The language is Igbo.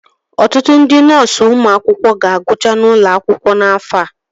Ọtụtụ ndị nọọsu ụmụ akwụkwọ ga-agụcha n'ụlọ akwụkwọ n'afọ a